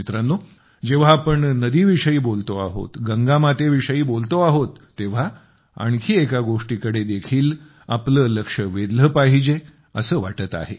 मित्रांनो जेव्हा नदीविषयी बोलतो आहोत गंगामातेविषयी बोलतो आहोत तेव्हा आणखी एका गोष्टीकडे देखील आपले लक्ष वेधले पाहिजे असे वाटते आहे